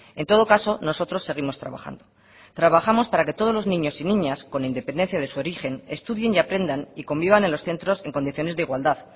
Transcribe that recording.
en todo caso nosotros seguimos trabajando trabajamos para que todos los niños y niñas con independencia de su origen estudien y aprendan y convivan en los centros en condiciones de igualdad